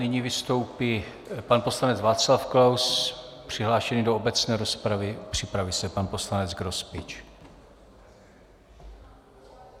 Nyní vystoupí pan poslanec Václav Klaus, přihlášený do obecné rozpravy, připraví se pan poslanec Grospič.